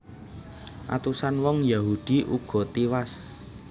Atusan wong Yahudi uga tiwas